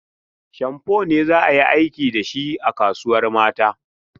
Shamfo ne za a yi aikin da shi a kasuwar mata.